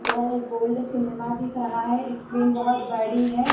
यह एक gold cinema दिख रहा है स्क्रीन बहुत बड़ी है।